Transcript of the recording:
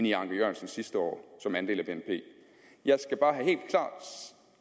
i anker jørgensens sidste år jeg